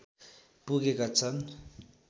पुगेका छन्